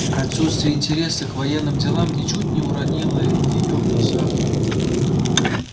отсутствие интереса к военным делам ничуть не уронило её в глазах